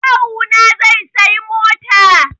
Kawu na zai sayi mota